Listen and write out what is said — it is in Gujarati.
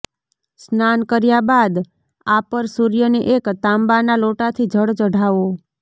સ્નાન કર્યા બાદ આપર સૂર્યને એક તાંબાના લોટાથી જળ ચઢાવો